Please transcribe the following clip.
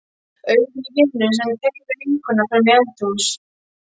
Augun á vininum sem teymir vinkonuna fram í eldhús.